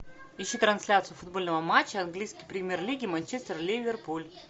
ищи трансляцию футбольного матча английской премьер лиги манчестер ливерпуль